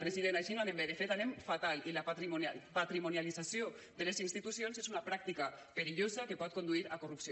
president així no anem bé de fet anem fatal i la patrimonialització de les institucions és una pràctica perillosa que pot conduir a corrupció